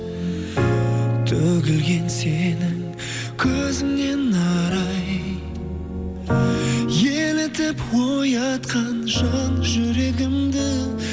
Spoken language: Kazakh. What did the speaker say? төгілген сенің көзіңнен арай елітіп оятқан жан жүрегімді